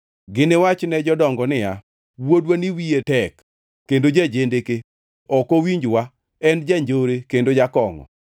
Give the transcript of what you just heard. Giniwach ne jodongo niya, “Wuodwani wiye tek kendo ja-jendeke, ok owinjwa, en janjore kendo jakongʼo.”